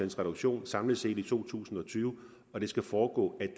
reduktion samlet set i to tusind og tyve og det skal foregå ad